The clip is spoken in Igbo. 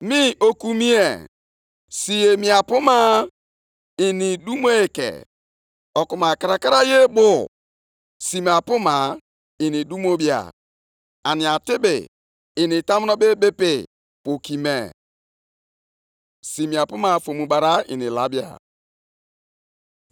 “Lee, onye iro na-afụli onwe ya elu; ọchịchọ ya ezikwaghị ezi ma onye ezi omume ga-esite nʼokwukwe + 2:4 Maọbụ, ikwesi ntụkwasị obi ya dị ndụ.